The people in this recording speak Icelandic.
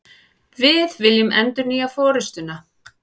Við viljum endurnýja forustuna